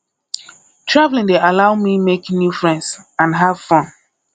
traveling dey allow me make new friends and have fun